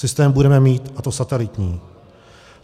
Systém budeme mít, a to satelitní.